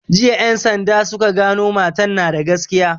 Jiya en sanda suka gano matan na da gaskiya